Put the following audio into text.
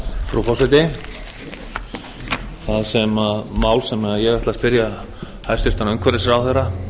frú forseti það mál sem ég ætla að spyrja hæstvirtur umhverfisráðherra